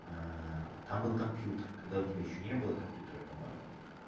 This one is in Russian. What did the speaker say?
там был компьютер когда у тебя ещё не было компьютера по-моему